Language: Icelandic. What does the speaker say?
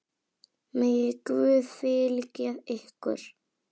Megi Guð fylgja ykkur.